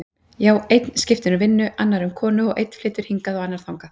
Já, einn skiptir um vinnu, annar um konu og einn flytur hingað og annar þangað.